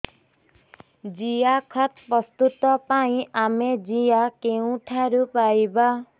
ଜିଆଖତ ପ୍ରସ୍ତୁତ ପାଇଁ ଆମେ ଜିଆ କେଉଁଠାରୁ ପାଈବା